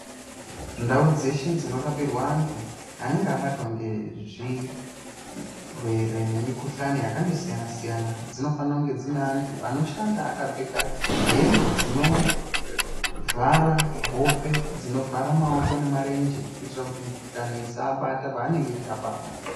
Ndau dzeshe dzinorapirwa anhu anenge abatwa ngezvirwere nemikhuhlani yakandosiyanasiyana dzinofanire kunge dzine anhu anoshanda aakapfeka hembe dzinovhara hope, dzinovhara maoko nemarenje kuitira kuti mikhuhlani isaabata paanenge eirapa amweni.